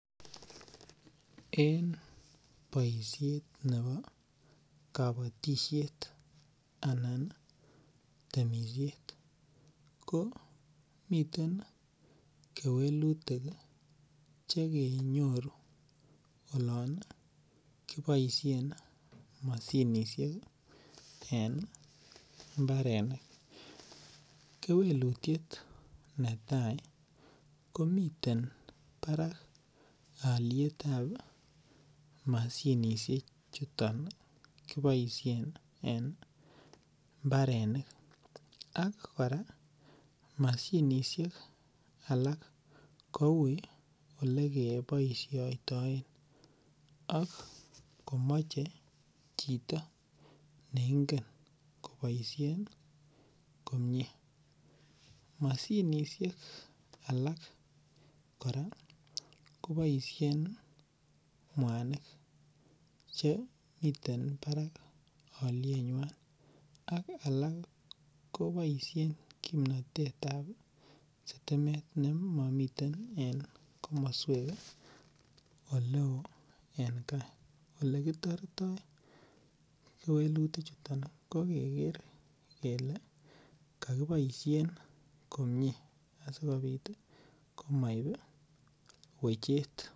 En boisiet nebo kabatisiet anan temisiet ko miten kewelutik chekenyoru olon kiboisien moshinisiek en imbarenik. Kewelitiet netai komiten barak alyetab moshinisiechuton kiboisien en imbarenik ak kora moshinisiek alak kou olekeboisiotoen ak komache chito ne ingen koboisien komie. Moshinisiek alak kora koboisien mwanik che miten barak alyenywan ak alak koboisien kimnatetab sitimet nemamiten en komoswek oleo en kaa. Olekitortoi keweluti chuton ko keger kele kakoboisien komie asigopit komoib wechet.